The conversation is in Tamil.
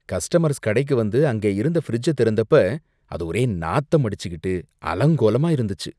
கஸ்டமர்ஸ் கடைக்கு வந்து அங்கே இருந்த ஃபிரிட்ஜ திறந்தப்ப அது ஒரே நாத்தம் அடிச்சுக்கிட்டு அலங்கோலமா இருந்துச்சு.